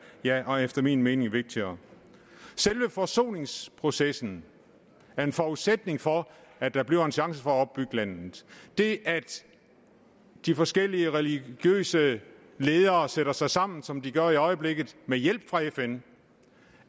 ja efter min mening vigtigere selve forsoningsprocessen er en forudsætning for at der bliver en chance for at opbygge landet det at de forskellige religiøse ledere sætter sig sammen som de gør i øjeblikket med hjælp fra fn